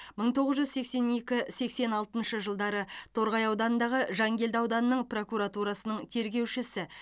мың тоғыз жүз сексен екі сексен алтыншы жылдары торғай ауданындағы жангелді ауданының прокуратурасының тергеушісі